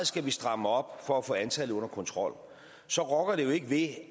skal stramme op for at få antallet under kontrol så rokker det jo ikke ved